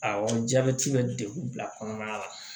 Awɔ jabɛti bɛ degun bila kɔnɔna la